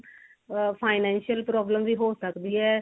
ਆ financial problem ਵੀ ਹੋ ਸਕਦੀ ਏ